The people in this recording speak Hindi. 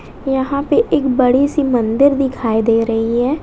यहां पे एक बड़ी सी मंदिर दिखाई दे रही है।